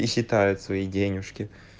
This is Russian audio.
и считают свои денежки